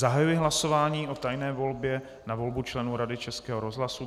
Zahajuji hlasování o tajné volbě na volbu členů Rady Českého rozhlasu.